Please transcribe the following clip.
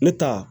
Ne ta